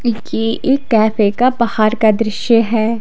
ये एक कैफे का बाहर का दृश्य है।